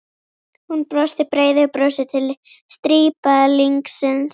Hún brosti breiðu brosi til strípalingsins.